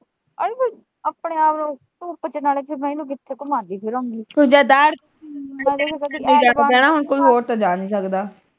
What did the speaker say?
ਆਪਣੇ ਆਪ ਨੂੰ, ਧੁੱਪ ਚ ਨਾਲੇ ਫਿਰ ਮੈਂ ਇਹਨੂੰ ਕਿਥੇ ਘੁੰਮਾਉਂਦੀ ਫਿਰੂੰਗੀ